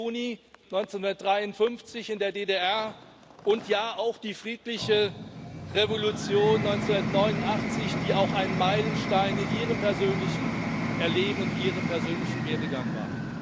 17. Juni 1953 in der DDR und, ja, auch die friedliche Revolution 1989, die auch ein Meilenstein in Ihrem persönlichen Erleben und Ihrem persönlichen Werdegang war.